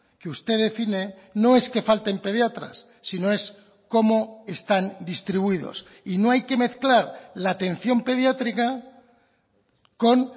que usted define no es que falten pediatras sino es cómo están distribuidos y no hay que mezclar la atención pediátrica con